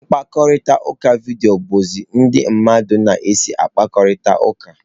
Mkparịta ụka vidiyo bụzi ụzọ ndị mmadụ na-esi akparịta ụka.